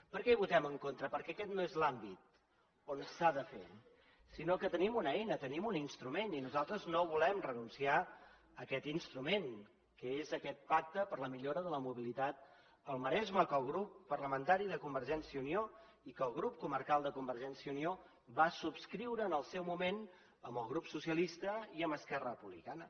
per què hi votem en contra perquè aquest no és l’àmbit on s’ha de fer sinó que tenim una eina tenim un instrument i nosaltres no volem renunciar a aquest instrument que és aquest pacte per la millora de la mobilitat al maresme que el grup parlamentari de convergència i unió i que el grup comarcal de convergència i unió va subscriure en el seu moment amb el grup socialista i amb esquerra republicana